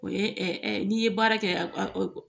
O ye ɛ n'i ye baara kɛ